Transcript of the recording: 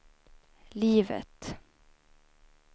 livet